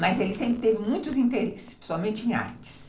Mas ele sempre teve muitos interesses, principalmente em artes.